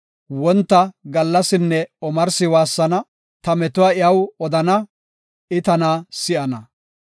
Wonta, gallasinne omarsi waassana; ta metuwa iyaw odana; I tana si7ana.